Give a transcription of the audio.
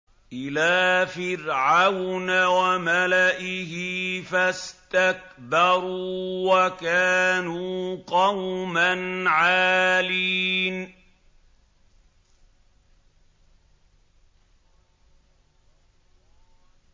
إِلَىٰ فِرْعَوْنَ وَمَلَئِهِ فَاسْتَكْبَرُوا وَكَانُوا قَوْمًا عَالِينَ